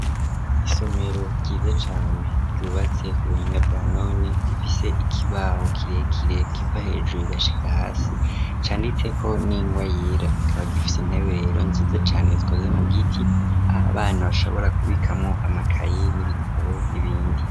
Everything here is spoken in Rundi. Isomero ryiza cane ryubatse ku buhinga bwa none rifise ikibaho kirekire kiva hejuru kigashika hasi canditse ko n'ingwa yera kikaba gifise intebe rero nziza cane zikoze mu giti aho abana bashobora kubikamwo amakayi n'ibitabo n'ibindi.